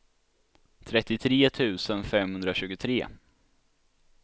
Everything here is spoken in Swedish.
trettiotre tusen femhundratjugotre